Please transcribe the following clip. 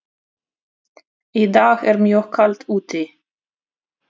Í dag er mjög kalt úti.